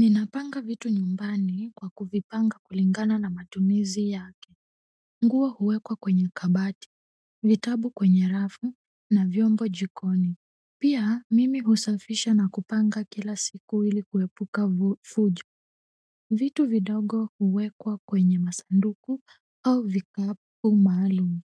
Ninapanga vitu nyumbani kwa kuvipanga kulingana na matumizi yake nguo huwekwa kwenye kabati vitabu kwenye rafu na vyombo jikoni pia mimi husafisha na kupanga kila siku ili kuepuka fujo vitu vidogo huwekwa kwenye masanduku au vikapu maalum.